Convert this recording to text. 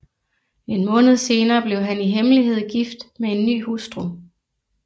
En måned senere blev han i hemmelighed gift med en ny hustru